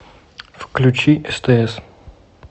включи стс